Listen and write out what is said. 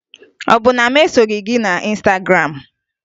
Ọ bụ na mụ esoghi gị na Ịnstagram?